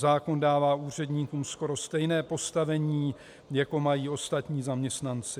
Zákon dává úředníkům skoro stejné postavení, jako mají ostatní zaměstnanci.